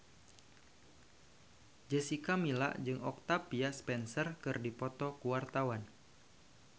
Jessica Milla jeung Octavia Spencer keur dipoto ku wartawan